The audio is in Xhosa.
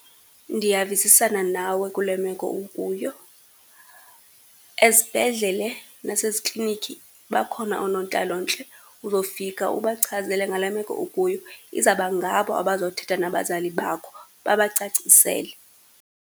Ndiyavisisana nawe kule meko ukuyo. Ezibhedlele naseziklinikhi bakhona oonontlalontle, uzofika ubachazele ngale meko ukuyo. Izabangabo abazothetha nabazali bakho, babacacisele.